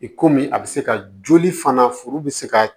I komi a bɛ se ka joli fana foro bɛ se ka